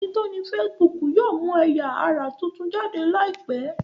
ẹní tí o ní Facebook yóò mú ẹya-ara títún jáde láìpé.